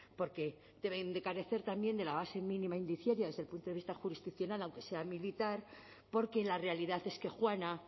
porque deben de carecer también de la base mínima indiciaria desde el punto de vista jurisdiccional aunque sea militar porque la realidad es que juana